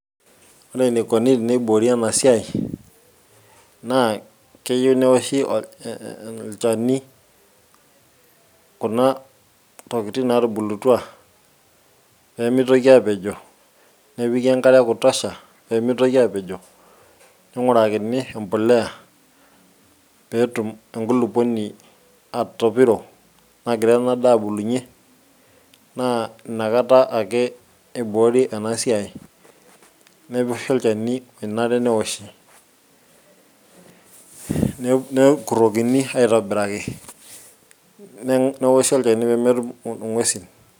ore enikoni teneiboori ena siai naa keyieu neoshi e olchani kuna tokitin natubulutua pemitoki apejo nepiki enkare e kutosha pemitoki apejo ning'urakin empoleya petum enkulupuoni atopiro nagira ena daa abulunyie naa inakata ake iboori enasiai nepii olchani onare neoshi ne nekurrokini aitobiraki ne neoshi olchani pemetum ing'uesin.